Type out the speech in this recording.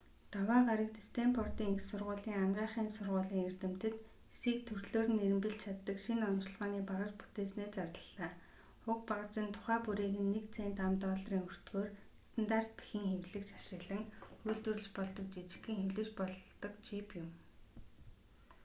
даваа гарагт стэнфордын их сургуулийн анагаахын сургуулийн эрдэмтэд эсийг төрлөөр нь эрэмбэлж чаддаг шинэ оношилгооны багаж бүтээснээ зарлалаа: уг багаж нь тухай бүрийг нь нэг цент ам.долларын өртгөөр стандарт бэхэн хэвлэгч ашиглан үйлдвэрлэж болдог жижигхэн хэвлэж болдог чип юм